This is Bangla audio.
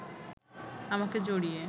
আমাকে জড়িয়ে